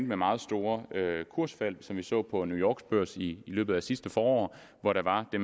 med meget store kursfald som vi så på new yorks børs i løbet af sidste forår hvor der var det